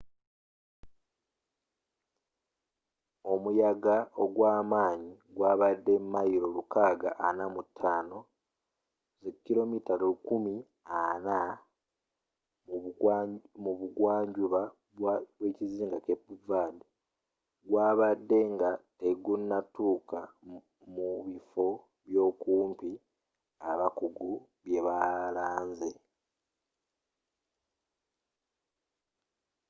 omuyagga ogwamanyi gwabadde mailo lukaaga ana mu tano 645 mayilo 1040 kmmu bugwanjuba bwekizinga cape verde gwabuzze nga tegunatukka mu bifo byokumpi abakuggu bwebalanze